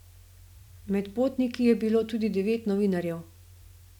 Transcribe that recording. Med potniki je bilo tudi devet novinarjev.